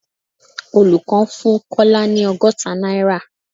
Olùkọ́ fún Kọ́lá ni ọgọ́ta náírà